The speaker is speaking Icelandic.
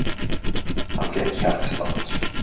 Hann fékk hjartslátt.